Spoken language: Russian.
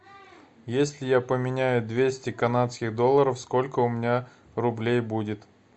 если я поменяю двести канадских долларов сколько у меня рублей будет